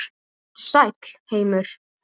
Vertu sæll, heimur.